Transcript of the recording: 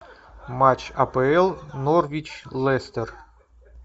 матч апл норвич лестер